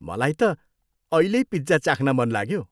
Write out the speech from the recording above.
मलाई त अहिल्यै पिज्जा चाख्न मन लाग्यो।